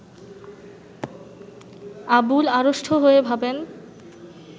আবুল আড়ষ্ট হয়ে ভাবেন